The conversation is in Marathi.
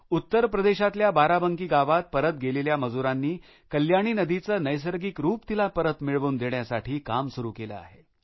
उत्तरप्रदेशातल्या बाराबंकी गावात परत गेलेल्या मजुरांनी कल्याणी नदीचे नैसर्गिक रूप तिला परत मिळवून देण्यासाठी काम सुरु केले आहे